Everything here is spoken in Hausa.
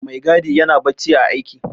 Maigadi yana bacci ã aiki.